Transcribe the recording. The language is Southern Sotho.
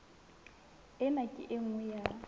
ena ke e nngwe ya